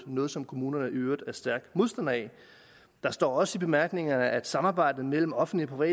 noget som kommunerne i øvrigt er stærke modstandere af der står også i bemærkningerne at samarbejdet mellem offentlige og